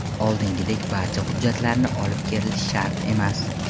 Oldingidek barcha hujjatlarni olib kelish shart emas.